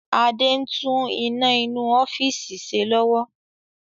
Adé ń tún iná inú ọ́fíìsì ṣe lọ́wọ́